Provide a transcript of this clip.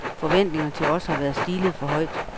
Forventningerne til os har været stillet for højt.